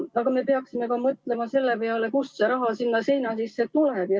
Aga me peaksime mõtlema ka selle peale, kust see raha sinna seina sisse tuleb.